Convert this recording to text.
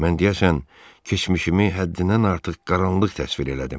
Mən deyəsən keçmişimi həddindən artıq qaranlıq təsvir elədim.